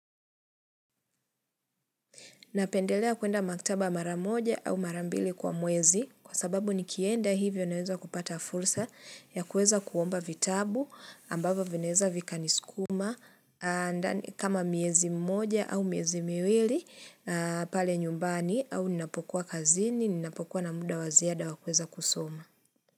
Napendelea kuenda maktaba mara moja au mara mbili kwa mwezi kwa sababu nikienda hivyo naweza kupata fursa ya kueza kuomba vitabu ambavyo vinaeza vikaniskuma kama miezi mmoja au miezi miwili pale nyumbani au ninapokuwa kazini ninapokuwa na muda wa ziada wakuweza kusoma.